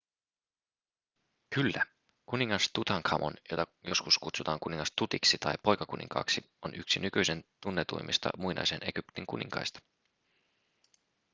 kyllä kuningas tutankhamon jota joskus kutsutaan kuningas tutiksi tai poikakuninkaaksi on yksi nykyisin tunnetuimmista muinaisen egyptin kuninkaista